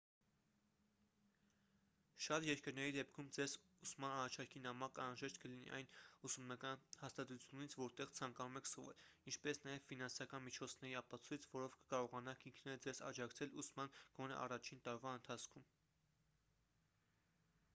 շատ երկրների դեպքում ձեզ ուսման առաջարկի նամակ անհրաժեշտ կլինի այն ուսումնական հաստատությունից որտեղ ցանկանում եք սովորել ինչպես նաև ֆինանսական միջոցների ապացույց որով կկարողանաք ինքներդ ձեզ աջակցել ուսման գոնե առաջին տարվա ընթացքում